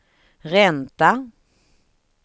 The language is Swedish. ränta